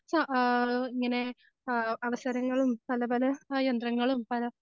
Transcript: സ ആ ഇങ്ങനെ ആ അവസരങ്ങളും പല പല യന്ത്രങ്ങളും പല